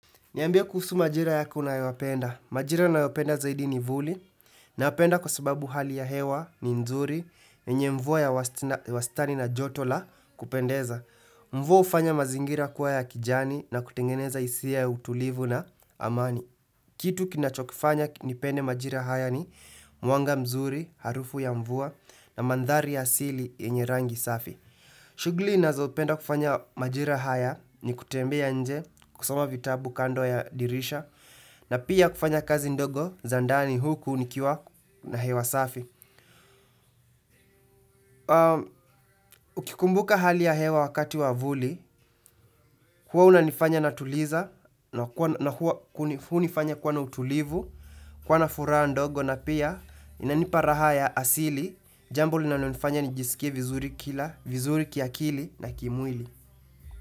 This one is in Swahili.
Niambie kuhusu majira yako unayoyapenda. Majira nayoyapenda zaidi ni vuli na napenda kwa sababu hali ya hewa ni nzuri yenye mvua ya wastani na joto la kupendeza. Mvua hufanya mazingira kuwa ya kijani na kutengeneza hisia ya utulivu na amani. Kitu kinachokifanya nikipende majira haya ni mwanga mzuri, harufu ya mvua na mandhari ya asili yenye rangi safi. Shughuli ninazopenda kufanya majira haya ni kutembea nje kusoma vitabu kando ya dirisha na pia kufanya kazi ndogo za ndani huku nikiwa na hewa safi. Nikikumbuka hali ya hewa wakati wa vuli, huwa unanifanya natuliza na huwa unifanya kuwa na utulivu, kuwa na furaha ndogo na pia inanipa raha ya asili. Jambo linalonifanya nijisikie vizuri kila, vizuri kiakili na kimwili.